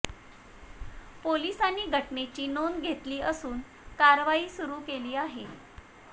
पोलिसांनी घटनेची नोंद घेतली असून कारवाई सुरु केली आहे